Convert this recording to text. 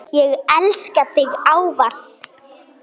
Ég elska þig ávallt.